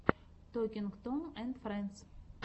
токинг том энд френдс